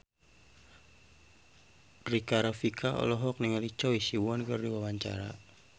Rika Rafika olohok ningali Choi Siwon keur diwawancara